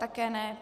Také ne.